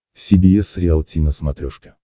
си би эс риалти на смотрешке